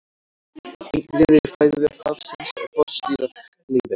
einn liður í fæðuvef hafsins er botndýralífið